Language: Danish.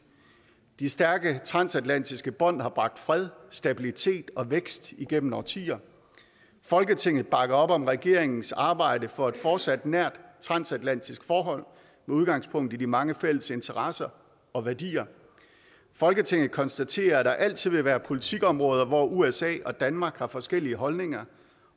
de stærke transatlantiske bånd har bragt fred stabilitet og vækst gennem årtier folketinget bakker op om regeringens arbejde for et fortsat nært transatlantisk forhold med udgangspunkt i de mange fælles interesser og værdier folketinget konstaterer at der altid vil være politikområder hvor usa og danmark har forskellige holdninger